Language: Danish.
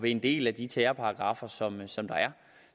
en del af de terrorparagraffer som som der er